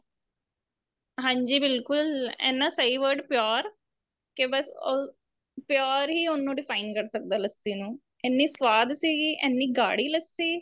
ਹਾਂਜੀ ਬਿਲਕੁਲ ਇੰਨਾ ਸਹੀ word pure ਕੇ ਬੱਸ ਉਹ pure ਹੀ ਉਹਨੂੰ define ਕਰ ਸਕਦਾ ਲੱਸੀ ਨੂੰ ਇੰਨੀ ਸਵਾਦ ਸੀਗੀ ਇੰਨੀ ਗਾੜੀ ਲੱਸੀ